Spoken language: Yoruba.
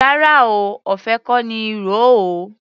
Rárá o, ọ̀fẹ́ kọ́ ní í ro o.